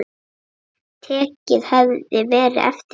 Tekið hefði verið eftir því.